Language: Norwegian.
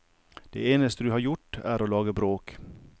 Det eneste du har gjort er å lage bråk.